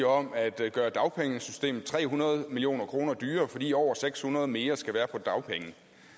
om at gøre dagpengesystemet tre hundrede million kroner dyrere fordi over seks hundrede mere skal være på dagpenge